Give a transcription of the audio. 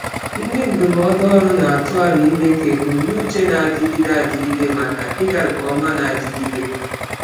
Ndị ndụmọdụ ọrụ na-atụ aro ime ka ebumnuche na-adịgide adịgide maka ịga nke ọma na-adigide.